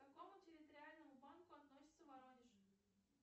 к какому территориальному банку относится воронеж